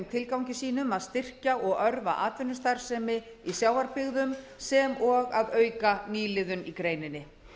tilgangi sínum að styrkja og örva atvinnustarfsemi í sjávarbyggðum sem og að auka nýliðun í greininni það